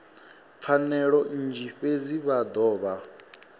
pfanelo nnzhi fhedzi vha dovha